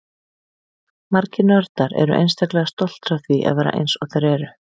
Margir nördar eru einstaklega stoltir af því að vera eins og þeir eru.